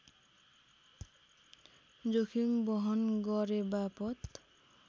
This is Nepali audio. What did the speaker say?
जोखिम बहन गरेबापत